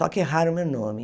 Só que erraram meu nome.